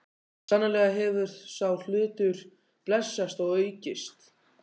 Sannarlega hefur sá hlutur blessast og aukist.